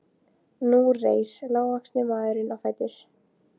Nú reis lágvaxni maðurinn á fætur.